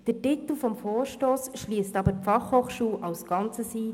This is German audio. Der Titel des Vorstosses schliesst jedoch die FH als Ganzes ein.